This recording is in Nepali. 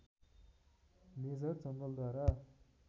मेजर जनरलद्वारा